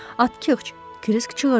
Atkiç, Krisk çığırdı.